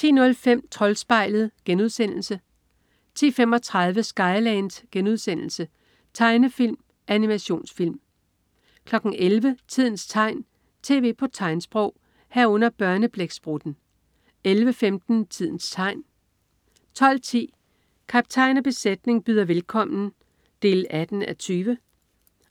10.05 Troldspejlet* 10.35 Skyland.* Tegnefilm/Animationsfilm 11.00 Tidens tegn, tv på tegnsprog* 11.00 Børneblæksprutten* 11.15 Tidens tegn* 12.10 Kaptajn og besætning byder velkommen 18:20.